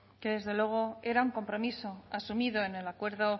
que desde luego era un compromiso asumido en el acuerdo